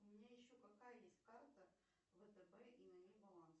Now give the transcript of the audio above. у меня еще какая есть карта втб и на ней баланс